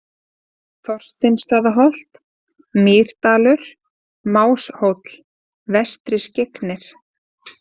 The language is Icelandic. Þorsteinsstaðaholt, Mýrdalur, Máshóll, Vestri-Skyggnir